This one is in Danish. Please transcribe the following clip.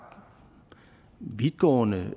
vidtgående